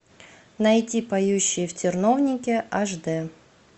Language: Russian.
найти поющие в терновнике аш дэ